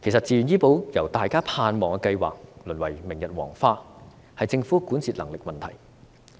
自願醫保由大家盼望的計劃淪為明日黃花，是政府管治能力的問題。